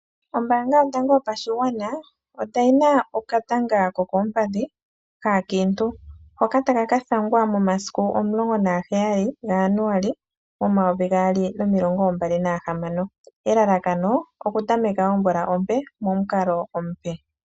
Ombaanga yotango yopashigwana oyina okatanga kokoompadhi kaakiintu, hoka takaka thangwa momasiku omulongo naga heyali ga Januali omayovi gaali nomilongo mbali nahamano. Elalakano oku tameka omvula ompe momukalo omupe.